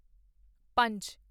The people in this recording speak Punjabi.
ਪੰਜ